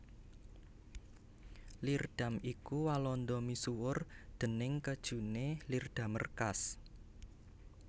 Leerdam iku ing Walanda misuwur déning kéjuné Leerdammer kaas